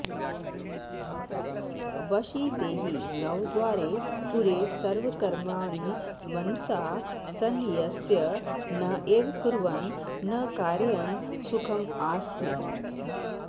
वशी देही नवद्वारे पुरे सर्वकर्माणि मनसा सन्न्यस्य न एव कुर्वन् न कारयन् सुखम् आस्ते